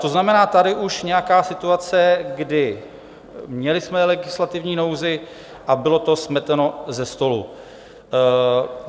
To znamená, tady už nějaká situace, kdy jsme měli legislativní nouzi, a bylo to smeteno ze stolu.